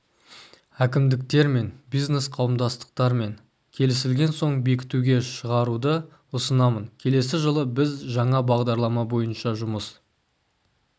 әкімдіктермен бизнес қауымдастықтармен келісілген соң бекітуге шығаруды ұсынамын келесі жылы біз жаңа бағдарлама бойынша жұмыс